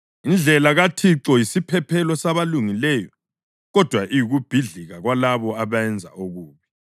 Indlela kaThixo yisiphephelo sabalungileyo, kodwa iyikubhidlika kwalabo abenza okubi.